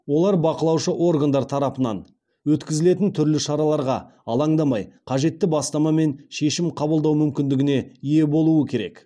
олар бақылаушы органдар тарапынан өткізілетін түрлі шараға алаңдамай қажетті бастама мен шешім қабылдау мүмкіндігіне ие болу керек